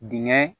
Dingɛ